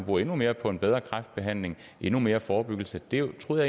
bruge endnu mere på en bedre kræftbehandling og endnu mere forebyggelse det troede